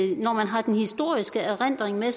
jo når man har den historiske erindring med